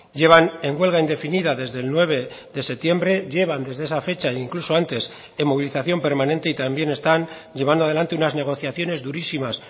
llevan en huelga indefinida desde el nueve de septiembre llevan desde esa fecha incluso antes en movilización permanente y también están llevando adelante unas negociaciones durísimas